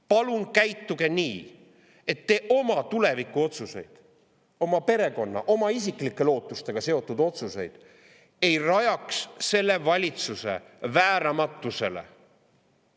Palun käituge nii, et te oma tulevikuotsuseid – oma perekonna ja oma isiklike lootustega seotud otsuseid – ei rajaks selle valitsuse vääramatusele.